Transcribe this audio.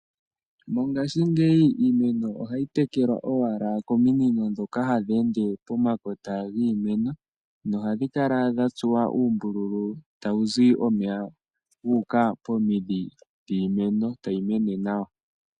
Mongaashingeyi iimeno ohayi tekelwa owala kominino ndhoka hadhi ende pomakota giimeno nohadhi kala dhatsuwa oombululu pomidhi dhiimeno tayi mene nawa.